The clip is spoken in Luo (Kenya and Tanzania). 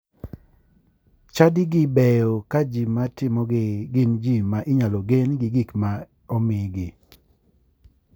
Chadigi beyo ka ji matimogi gin ji ma inyalo gen gi gik ma omigi